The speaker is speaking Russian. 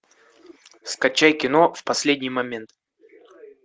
скачай кино в последний момент